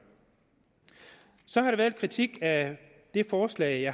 så har der været kritik af det forslag